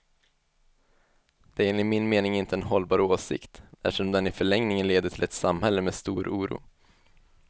Det är enligt min mening inte en hållbar åsikt, eftersom den i förlängningen leder till ett samhälle med stor oro.